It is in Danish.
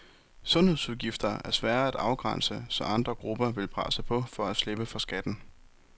Sundhedsudgifter er svære at afgrænse, så andre grupper vil presse på for at slippe for skatten.